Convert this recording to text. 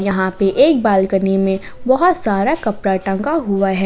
यहां पे एक बालकनी में बहुत सारा कपड़ा टंगा हुआ है।